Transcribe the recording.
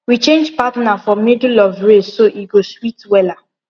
we change partner for middle of race so e go sweet wella